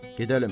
Gedəlim.